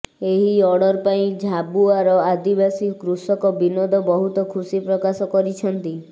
ଏହି ଅର୍ଡର ପାଇ ଝାବୁଆର ଆଦିବାସୀ କୃଷକ ବିନୋଦ ବହୁତ ଖୁସି ପ୍ରକାଶ କରିଛନ୍ତି